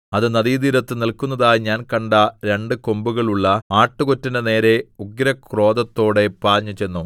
അത് നദീതീരത്തു നില്‍ക്കുന്നതായി ഞാൻ കണ്ട രണ്ടു കൊമ്പുകളുള്ള ആട്ടുകൊറ്റന്റെ നേരെ ഉഗ്രക്രോധത്തോടെ പാഞ്ഞുചെന്നു